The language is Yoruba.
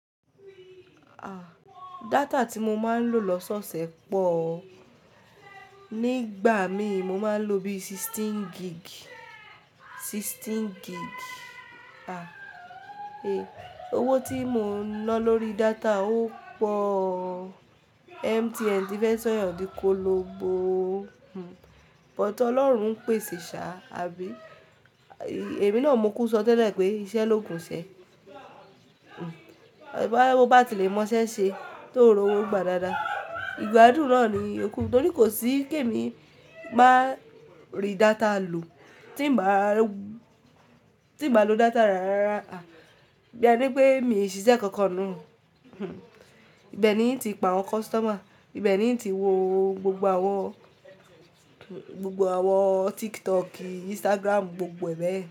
À, data tí mo máa ń lò lọ́sọ̀ọ̀sẹ̀ pọ̀ ọ́. Nígbà mi mo máa ń lo bí 16 gig, 16 gig. À, ẹ, owó tí mo ń ná lórí data ó pọ̀ ọ́. MTN ti fẹ́ sọ̀yàn dí ko lo bó ọ́n. Hmm, but Ọlọ́run ń pèsè ṣá, àbí? Ẹ̀mi náà mú kú ṣọ tẹ́lẹ̀ pé iṣẹ́ ló gùn ṣe. Hmm, bá tí mo bá ti le mọ iṣẹ́ ṣe tó ń rọ owó gbà dáadáa. Ìgbádùn náà ni yooku torí kò sí kí èmi máa rí data lò. Tí n bàá, tí bàá lo data rárá, à, bí ení pé mi ṣiṣẹ́ kankan ni hmm, ibẹ̀ ni yín ti pa àwọn customer, ibẹ̀ ni yín ti wo gbogbo àwọn, gbogbo àwọn TikTok, Instagram gbogbo e bẹ́ẹ̀.